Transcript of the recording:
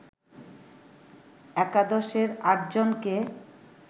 একাদশের আটজনকে